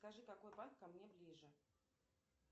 скажи какой банк ко мне ближе